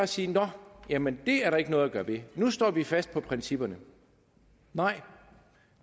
sige nå jamen det er der ikke noget at gøre ved nu står vi fast på principperne nej